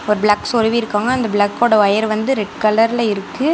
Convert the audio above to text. ஒரு பிளக் சொருவிருக்காங்க அந்த பிளக் ஓட ஒயர் வந்து ரெட் கலர்ல இருக்கு.